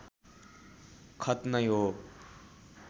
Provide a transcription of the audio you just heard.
खत नै हो